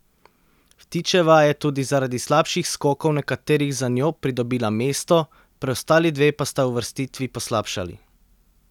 Vtičeva je tudi zaradi slabših skokov nekaterih za njo pridobila mesto, preostali dve pa sta uvrstitvi poslabšali.